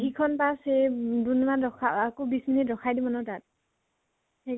সিখন bus হেই দুম্দুমাত ৰখা আকৌ বিছ minute ৰখাই দিব না তাত। সেই